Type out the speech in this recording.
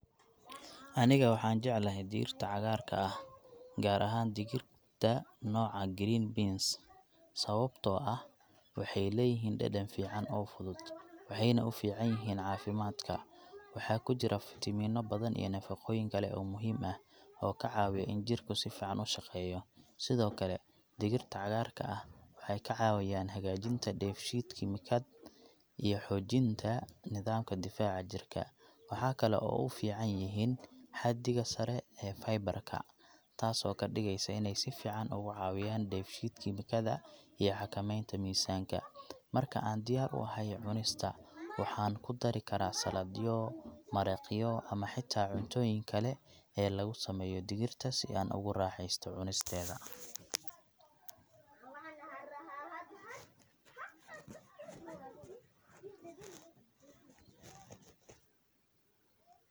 Aniga waxaan jeclahay digirta cagaarka ah, gaar ahaan digirta nooca green beans, sababtoo ah waxay leeyihiin dhadhan fiican oo fudud, waxayna u fiican yihiin caafimaadka. Waxaa ku jira fiitamiinno badan iyo nafaqooyin kale oo muhiim ah oo ka caawiya in jidhku si fiican u shaqeeyo. Sidoo kale, digirta cagaarka ah waxay ka caawiyaan hagaajinta dheef-shiid kiimikaad iyo xoojinta nidaamka difaaca jirka. Waxaa kale oo u fiican inay yihiin xaddiga sare ee fiber ka, taasoo ka dhigaysa inay si fiican uga caawiyaan dheef-shiid kiimikaada iyo xakameynta miisaanka. Marka aan diyaar u ahay cunista, waxaan ku dari karaa saladhyo, maraqyo ama xitaa cuntooyinka kale ee laga sameeyo digirta si ay ugu raaxaysato cunisteeda.